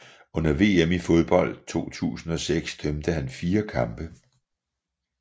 Under VM i fodbold 2006 dømte han fire kampe